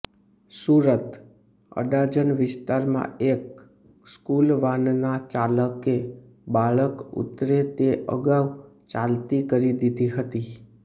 સુરતઃ અડાજણ વિસ્તારમાં એક સ્કૂલ વાનના ચાલકે બાળક ઉતરે તે અગાઉ ચાલતી કરી દીધી હતી